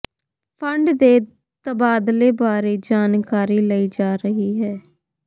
fund ਦੇ ਤਬਾਦਲੇ ਬਾਰੇ ਜਾਣਕਾਰੀ ਲਈ ਜਾ ਰਹੀ ਹੈ